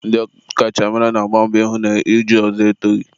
ndị ọkachamara na-agba mbọ ịhụ na iju ọzọ etoghi.